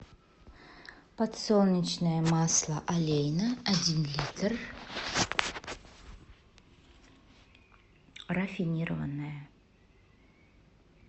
подсолнечное масло олейна один литр рафинированное